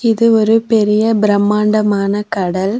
இது ஒரு பெரிய பிரம்மாண்டமான கடல்.